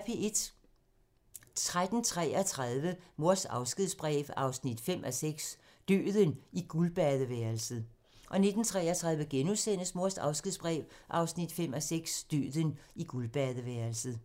13:33: Mors afskedsbrev 5:6 – Døden i guldbadeværelset 19:33: Mors afskedsbrev 5:6 – Døden i guldbadeværelset *